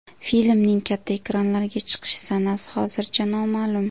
Filmning katta ekranlarga chiqish sanasi hozircha noma’lum.